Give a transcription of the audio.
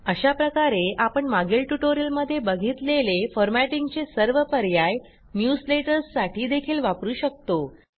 अशा प्रकारे आपण मागील ट्युटोरियलमध्ये बघितलेले फॉरमॅटिंगचे सर्व पर्याय न्यूजलेटर्स साठी देखील वापरू शकतो